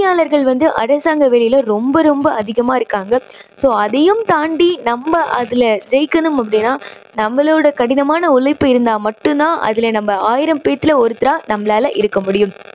போட்டியாளர்கள் வந்து அரசாங்க வேலையில ரொம்ப அதிகமா இருக்காங்க. so அதையும் தாண்டி நம்ம அதுல ஜெயிக்கணும் அப்படின்னா நம்மளோட கடினமான உழைப்பு இருந்தா மட்டும் தான் அதுல நம்ம ஆயிரம் பேத்துல ஒருத்தாரா நம்மளால இருக்க முடியும்.